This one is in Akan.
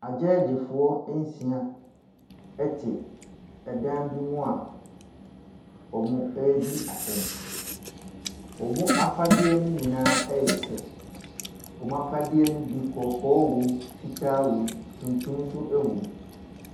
Agyɛɛgyefoɔ nsia na wɔte dan bi mu a wɔredi asɛm. wɔn afadeɛ nyinaa yɛ pɛ, wɔn afadeɛ ne bi kɔkɔɔ wɔm, fitaa wɔm tuntum nso wɔm.